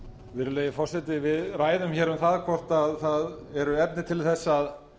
virðulegi forseti við ræðum um það hvort eru efni til að